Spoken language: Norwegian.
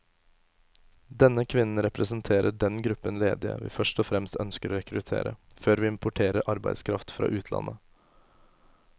Denne kvinnen representerer den gruppen ledige vi først og fremst ønsker å rekruttere, før vi importerer arbeidskraft fra utlandet.